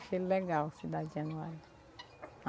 Achei legal a cidade de Januário.